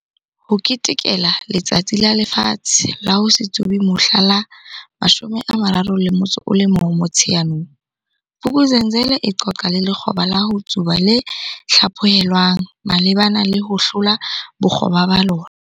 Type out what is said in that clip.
Ho ketekela Letsatsi la Lefatshe la ho se Tsube mohla la 31 Motsheanong, Vuk'uzenzele e qoqa le lekgoba la ho tsuba le hlaphohelwang malebana le ho hlola bokgoba ba lona.